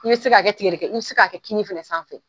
K'i bi se k'a kɛ tigɛdɛkɛ, i bi se k'a kɛ kini fɛnɛ sanfɛ.